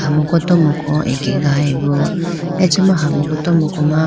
hamuku tomuku akegayibo acha ma hamuku tomuku ma.